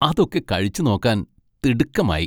അതൊക്കെ കഴിച്ചുനോക്കാൻ തിടുക്കമായി!